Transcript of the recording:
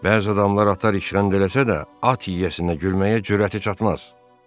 Bəzi adamlar atı işgəncə eləsələr də, at yiyəsinə gülməyə cürəti çatmaz.